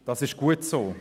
Das ist gut so.